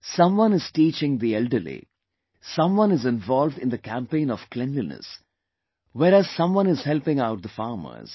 Someone is teaching the old people; someone is involved in the campaign of cleanliness whereas someone is helping out the farmers